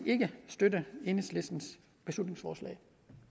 ikke støtte enhedslistens beslutningsforslag